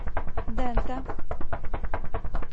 дэнта